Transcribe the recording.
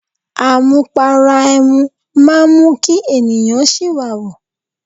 Amupara ẹmu máa ń mú kí ènìyàn siwawu.